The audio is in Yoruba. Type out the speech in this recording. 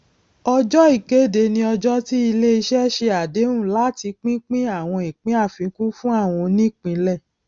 ọjọ ìkéde ni ọjọ tí iléiṣẹ ṣe àdéhùn láti pínpín àwọn ìpín àfikún fún àwọn onípínlẹ